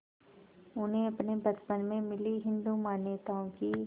उन्हें अपने बचपन में मिली हिंदू मान्यताओं की